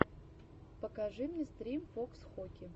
покажи мне стрим фокс хоки